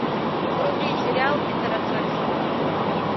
вруби сериал питера джексона